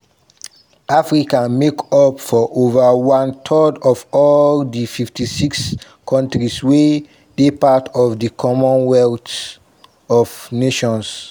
africa make up for ova one third of all di 56 kontris wey dey part of di commonwealth of nations.